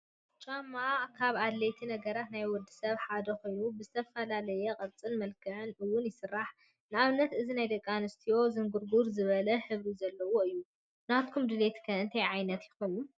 ጫማ ካብ ኣድለይቲ ነገራ ናይ ወዲ ሰብ ሓደ ኮይኑ በብዝተፈላለየ ቅርፅን መልክዕ ውን ይስራሕ፡፡ ንኣብነት እዚ ናይ ደቂ ኣንስትዮ ዝንጉርጉር ዝበለ ሕብሪ ዘለዎ እዩ፡፡ ናትኩም ድሌት ከ እንታይ ዓይነት ይኸውን?